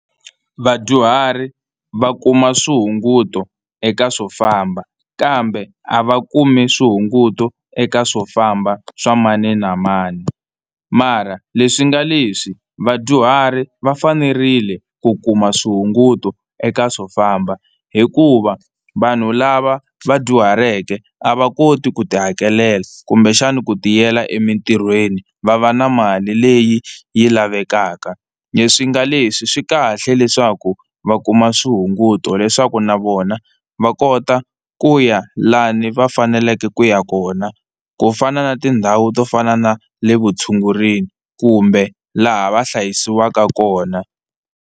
Vadyuhari va kuma swihunguto eka swo famba kambe a va kumi swihunguto eka swo famba swa mani na mani, mara leswi nga leswi vadyuhari va fanerile ku kuma swihunguto eka swo famba hikuva vanhu lava va dyuhaleke a va koti ku tihakelela kumbexani ku tiyela emitirhweni va va na mali leyi yi lavekaka. Leswi nga leswi swi kahle leswaku va kuma swihunguto leswaku na vona va kota ku ya lani va faneleke ku ya kona ku fana na tindhawu to fana na le vutshungurini kumbe laha va hlayisiwaka kona.